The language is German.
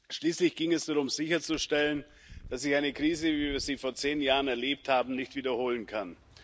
Schließlich ging es darum, sicherzustellen, dass sich eine Krise, wie wir sie vor zehn Jahren erlebt haben, nicht wiederholen kann.